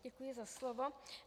Děkuji za slovo.